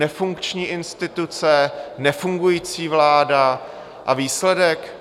Nefunkční instituce, nefungující vláda a výsledek?